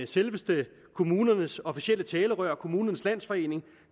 selveste kommunernes officielle talerør kommunernes landsforening